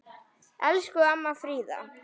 Elsku amma Fríða.